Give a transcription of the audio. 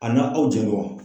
A na aw jɛɲɔgɔn.